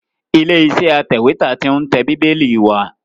Ilé iṣẹ́ atẹ̀wẹ́tà tí ń tẹ Bíbélì wa